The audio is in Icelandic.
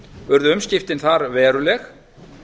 urðu umskiptin þar veruleg